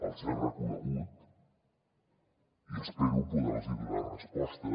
els he reconegut i espero poder los donar resposta